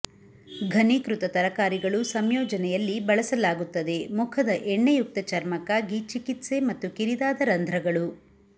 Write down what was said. ಘನೀಕೃತ ತರಕಾರಿಗಳು ಸಂಯೋಜನೆಯಲ್ಲಿ ಬಳಸಲಾಗುತ್ತದೆ ಮುಖದ ಎಣ್ಣೆಯುಕ್ತ ಚರ್ಮಕ್ಕಾಗಿ ಚಿಕಿತ್ಸೆ ಮತ್ತು ಕಿರಿದಾದ ರಂಧ್ರಗಳು